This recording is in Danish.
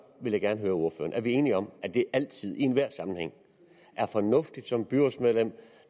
vil jeg gerne høre ordføreren er vi enige om at det altid og i enhver sammenhæng er fornuftigt som byrådsmedlem